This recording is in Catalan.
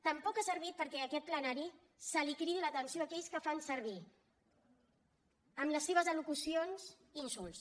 tampoc ha servit perquè a aquest plenari se li cridi l’atenció a aquells que fan servir en les seves al·locucions insults